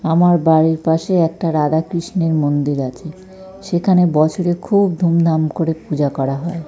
আমার বাড়ির পাশে একটা রাধাকৃষ্ণের মন্দির আছে। সেখানে বছরে খুব ধুম ধাম করে পূজা করা হয়।